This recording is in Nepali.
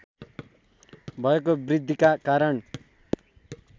भएको वृद्धिका कारण